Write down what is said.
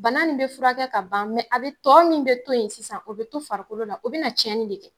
Bana nin be furakɛ ka ban mɛ a be a tɔ min be to yen sisan o be to farikolo la o be na cɛni de kɛ